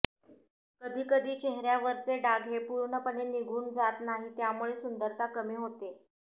कधी कधी चेहऱ्यावरचे डाग हे पूर्णपणे निघून जात नाही यामुळे सुंदरता कमी होते